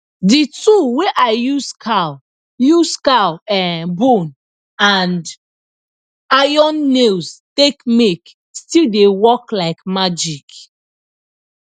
de tool wey i use cow use cow um bone and iron nails take make still dey work like magic